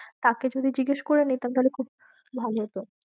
তাকে যদি জিজ্ঞেস করে নিতাম তাহলে খুব ভালো হতো।